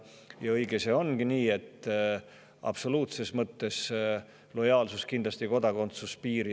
Nii et lojaalsus ei jookse kindlasti absoluutses mõttes kitsalt mööda kodakondsuspiiri.